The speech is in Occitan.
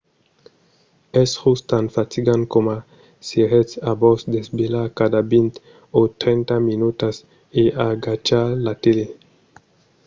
es just tan fatigant coma s’èretz a vos desvelhar cada vint o trenta minutas e agachar la tele